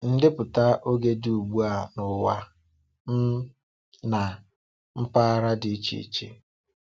Ndepụta oge dị ugbu a n’ụwa um na mpaghara dị iche iche.